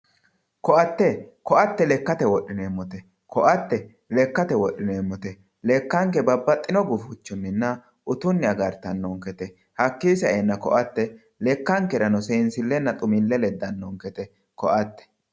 ko"atte ko"atte lekkate woxxineemote ko"atte lekkate woxxineemote lekkanke babbaxino gufichinninna utunni agartanonkete hakii sa"eena ko"atte lekkankera seensillenna xumille leddanonkete ko"atte .